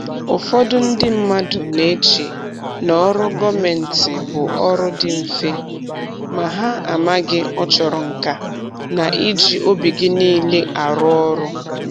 Ụfọdụ ndị mmadụ na-eche n'ọrụ gọọmentị bụ ọrụ dị mfe, ma ha amaghị ọ chọrọ nka na iji obi gị niile arụ ọrụ